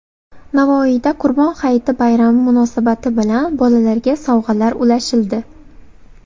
Navoiyda Qurbon hayiti bayrami munosabati bilan bolalarga sovg‘alar ulashildi.